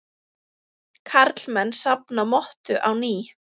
Karlmenn safna mottu á ný